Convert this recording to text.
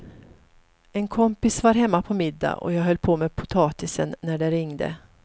En kompis var hemma på middag och jag höll på med potatisen när det ringde.